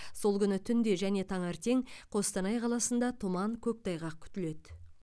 сол күні түнде және таңертең қостанай қаласында тұман көктайғақ күтіледі